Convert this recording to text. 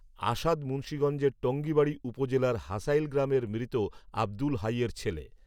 আসাদ মুন্সীগঞ্জের টঙ্গিবাড়ী উপজেলার হাসাইল গ্রামের মৃত আব্দুল হাইয়ের ছেলে